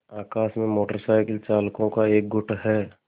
आकाश में motorcycle चालकों का एक गुट है